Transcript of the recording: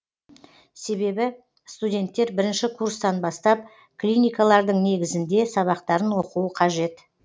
себебі студенттер бірінші курстан бастап клиникалардың негізінде сабақтарын оқуы қажет